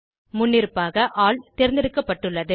முன்னிருப்பாக ஆல் தேர்ந்தெடுக்கப்பட்டுள்ளது